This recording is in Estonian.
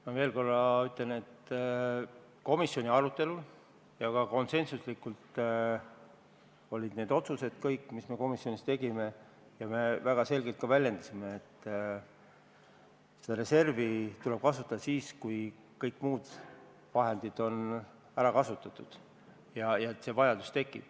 Ma veel korra ütlen, et komisjoni arutelul olid kõik need otsused konsensuslikult tehtud ja me väljendasime väga selgelt, et seda reservi tuleb kasutada siis, kui kõik muud vahendid on ära kasutatud ja tekib vajadus.